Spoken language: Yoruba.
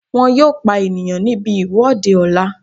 Wọ́n yóò pa ènìyàn níbi ìwọ́de ọ̀la